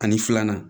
Ani filanan